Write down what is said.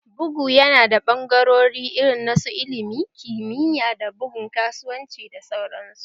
Bugu ya na da ɓangarori irin na su ilimi, kimiyya, da bugun kasuwanci da sauran su